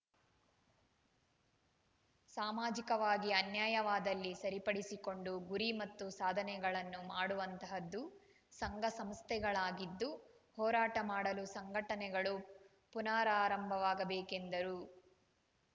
ಸಾಮಾಜಿಕವಾಗಿ ಅನ್ಯಾಯಯವಾದಲ್ಲಿ ಸರಿಪಡಿಸಿಕೊಂಡು ಗುರಿ ಮತ್ತು ಸಾಧನೆಗಳನ್ನು ಮಾಡುವಂತಹದ್ದು ಸಂಘ ಸಂಸ್ಥೆಗಳದ್ದಾಗಿದ್ದು ಹೋರಾಟ ಮಾಡಲು ಸಂಘಟನೆಗಳು ಪುನಾರಾರಂಭವಾಗಬೇಕು ಎಂದರು